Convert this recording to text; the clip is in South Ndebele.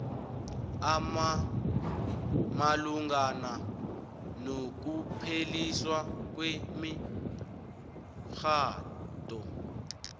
malungana nokupheliswa kwemitjhado